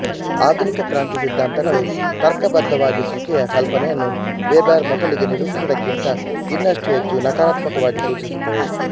ಆಧುನಿಕ ಕ್ರಾಂತಿ ಸಿದ್ಧಾಂತಗಳು ತರ್ಕಬದ್ಧವಾಗಿಸುವಿಕೆಯ ಕಲ್ಪನೆಯನ್ನು ವೆಬೆರ್ ಮೊದಲಿಗೆ ನಿರೂಪಿಸಿದುದಕ್ಕಿಂತ ಇನ್ನಷ್ಟು ಹೆಚ್ಚು ನಕಾರಾತ್ಮಕವಾಗಿ ಸೂಚಿಸುತ್ತವೆ